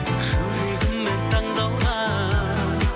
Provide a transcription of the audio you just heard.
жүрегіммен таңдалған